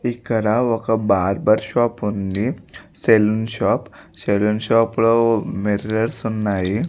ఇక్కడ ఒక barber shop ఉంది. Salon shop . సెలూన్ షాప్ లో మిర్రర్స్ ఉన్నాయి.